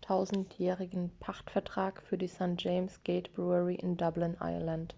9000-jährigen pachtvertrag für die st. james' gate brewery in dublin irland